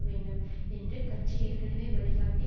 வேண்டும் என்று கட்சி ஏற்கனவே வழிகாட்டி